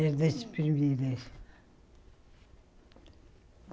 Era das primeiras.